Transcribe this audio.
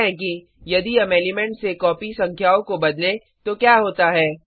देखते हैं कि यदि हम एलिमेंट्स से कॉपी संख्याओं को बदलें तो क्या होता है